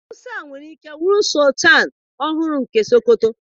Musa nwere ike bụrụ sọltanụ ọhụrụ nke Sokoto.